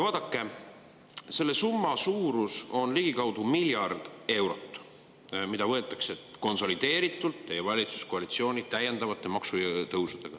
Vaadake, selle summa suurus, mis võetakse teie valitsuskoalitsiooni täiendavate maksutõusudega konsolideeritult ära, on ligikaudu miljard eurot.